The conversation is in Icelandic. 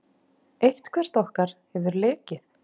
Eitthvert okkar hefur lekið.